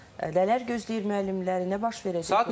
Nələr gözləyir müəllimləri, nə baş verəcək bu barədə?